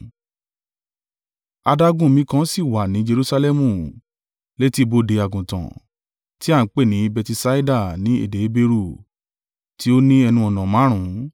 Adágún omi kan sì wà ní Jerusalẹmu, létí bodè àgùntàn, tí a ń pè ní Betisaida ní èdè Heberu, tí ó ní ẹnu-ọ̀nà márùn-ún.